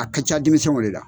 A ka ca denmisɛnw le la